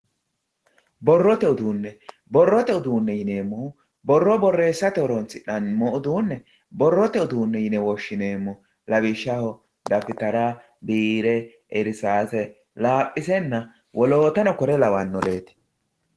Borrote uduune, borrote uduune yineemmohu borro borreessate horonsi'nanni uduune borrote uduune yine woshshineemmo lawishshaho dafittara biire irsase laphisenna woloottano kuri lawanoreti.